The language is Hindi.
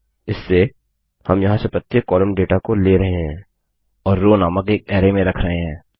इससे हम यहाँ से प्रत्येक कॉलम डेटा को ले रहे हैं और रोव नामक एक अरै में रख रहे हैं